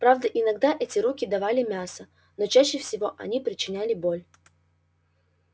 правда иногда эти руки давали мясо но чаще всего они причиняли боль